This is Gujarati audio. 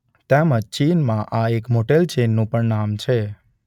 તેમજ આ ચીનમાં એક મોટેલ ચેઇનનું પણ નામ છે.